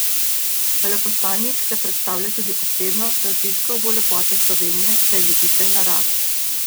Veleposlanik se predstavlja tudi osebno, raziskal bo lepote Slovenije, saj je ljubitelj narave.